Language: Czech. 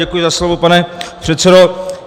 Děkuji za slovo, pane předsedo.